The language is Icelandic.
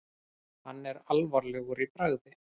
Hann er alvarlegur í bragði.